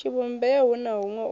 tshivhumbeo hu na huṅwe u